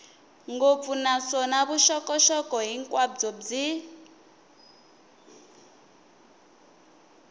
ngopfu naswona vuxokoxoko hinkwabyo byi